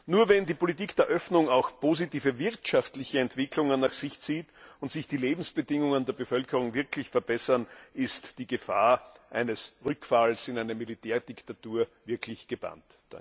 Nur wenn die Politik der Öffnung auch positive wirtschaftliche Entwicklungen nach sich zieht und sich die Lebensbedingungen der Bevölkerung wirklich verbessern, ist die Gefahr eines Rückfalls in eine Militärdiktatur wirklich gebannt.